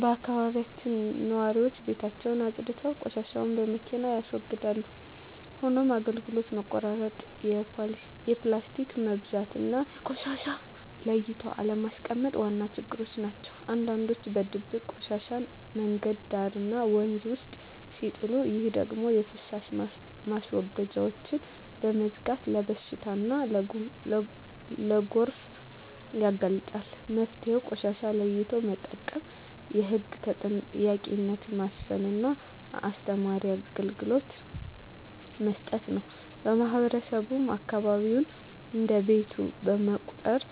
በአካባቢያችን ነዋሪዎች ቤታቸውን አፅድተው ቆሻሻን በመኪና ያስወግዳሉ። ሆኖም የአገልግሎት መቆራረጥ፣ የፕላስቲክ መብዛትና ቆሻሻን ለይቶ አለማስቀመጥ ዋና ችግሮች ናቸው። አንዳንዶች በድብቅ ቆሻሻን መንገድ ዳርና ወንዝ ውስጥ ሲጥሉ፣ ይህ ደግሞ የፍሳሽ ማስወገጃዎችን በመዝጋት ለበሽታና ለጎርፍ ያጋልጣል። መፍትሄው ቆሻሻን ለይቶ መጠቀም፣ የህግ ተጠያቂነትን ማስፈንና አስተማማኝ አገልግሎት መስጠት ነው። ማህበረሰቡም አካባቢውን እንደ ቤቱ በመቁጠር